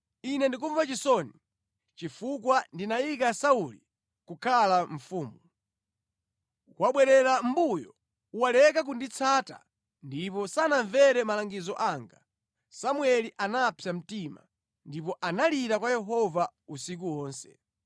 “Ine ndikumva chisoni chifukwa ndinayika Sauli kukhala mfumu. Wabwerera mʼmbuyo, waleka kunditsata ndipo sanamvere malangizo anga.” Samueli anapsa mtima, ndipo analira kwa Yehova usiku wonse.